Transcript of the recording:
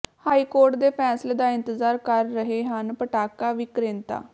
high court ਦੇ ਫੈਸਲੇ ਦਾ ਇੰਤਜ਼ਾਰ ਕਰ ਰਹੇ ਹਨ ਪਟਾਕਾ ਵਿਕ੍ਰੇਤਾ